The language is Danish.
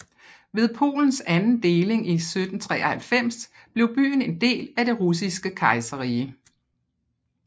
Ved Polens anden deling i 1793 blev byen en del af Det Russiske Kejserrige